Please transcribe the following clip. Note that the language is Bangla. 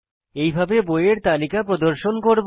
এইভাবে বইয়ের তালিকা প্রদর্শন করব